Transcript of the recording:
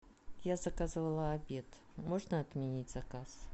я заказывала обед можно отменить заказ